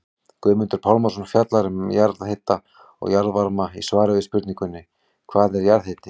Guðmundur Pálmason fjallar um jarðhita og jarðvarma í svari við spurningunni Hvað er jarðhiti?